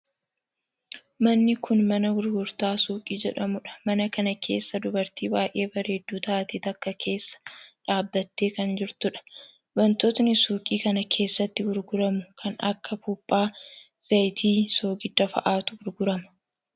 Manni kuni mana gurgurtaa suuqii jedhamuudha. Mana kana keessa dubartii baay'ee bareeddu taate takka keessa dhaabbattee kan jirtuudha. Wantootni suuqii kana keessati gurguramu kan akka buuphaa, zayitii, soogidda fa'atu gurgurama.